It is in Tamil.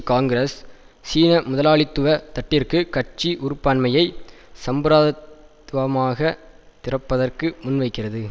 காங்கிரஸ் சீன முதலாளித்துவ தட்டிற்கு கட்சி உறுப்பாண்மையை சம்பிரத் துவமாகத் திறப்பதற்கு முன்வைக்கிறது